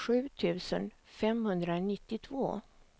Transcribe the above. sju tusen femhundranittiotvå